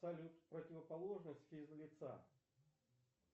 салют противоположность физ лица